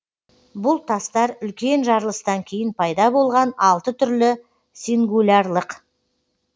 бұл тастар үлкен жарылыстан кейін пайда болған алты түрлі сингулярлық